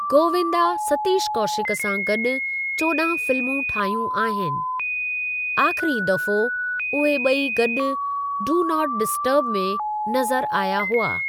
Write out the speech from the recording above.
गोविंदा सतीश कौशिक सां गॾु चोडहां फिल्मूं ठाहियूं आहिनि; आख़िरी दफ़ो उहे ॿई गॾु 'डू नॉट डिस्टर्ब' में नज़रु आया हुआ।